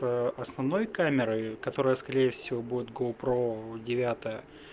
это основной камерой которая скорее всего будет гоу про девятая